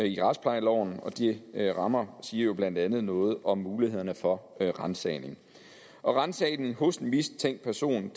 i retsplejeloven og de rammer siger jo blandt andet noget om mulighederne for ransagning ransagning hos en mistænkt person